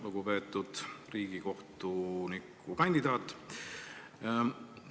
Lugupeetud riigikohtuniku kandidaat!